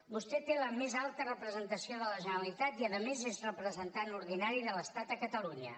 vostè té la més alta representació de la generalitat i a més és representant ordinari de l’estat a catalunya